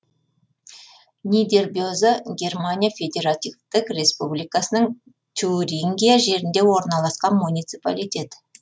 нидербеза германия федеративтік республикасының тюрингия жерінде орналасқан муниципалитет